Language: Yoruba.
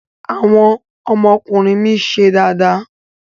Àwọn ọmọkùnrin mi ń ṣe dáadáa.